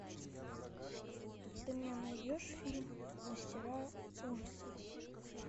ты мне найдешь фильм мастера ужасов